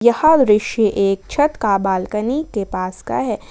ह दृश्य एक छत का बालकनी के पास का है ।